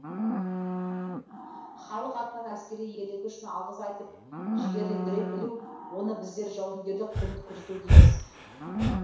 халық атынан әскери ерлігі үшін алғыс айтып жігерлендіре білу оны біздер жауынгерлік құрмет көрсету дейміз